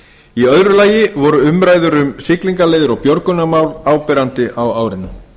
í öðru lagi voru umræður um siglingaleiðir og björgunarmál áberandi á árinu